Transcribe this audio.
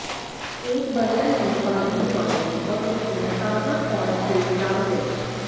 एक बर्तन में पानी उबालें और उसमें ताज़ा कॉर्न सिल्क डाल दें